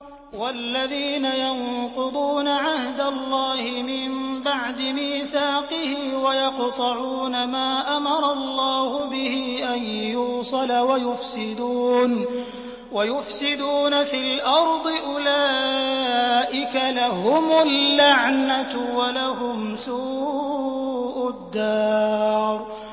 وَالَّذِينَ يَنقُضُونَ عَهْدَ اللَّهِ مِن بَعْدِ مِيثَاقِهِ وَيَقْطَعُونَ مَا أَمَرَ اللَّهُ بِهِ أَن يُوصَلَ وَيُفْسِدُونَ فِي الْأَرْضِ ۙ أُولَٰئِكَ لَهُمُ اللَّعْنَةُ وَلَهُمْ سُوءُ الدَّارِ